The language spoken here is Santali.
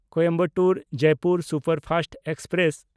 Coimbatore Jaipur superfast express